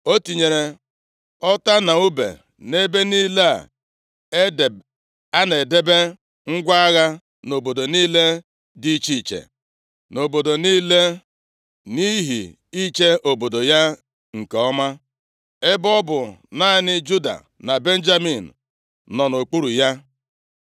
O tinyere ọta na ùbe nʼebe niile a na-edebe ngwa agha nʼobodo niile, nʼihi iche obodo ya nke ọma, ebe ọ bụ naanị Juda na Benjamin nọ nʼokpuru ya.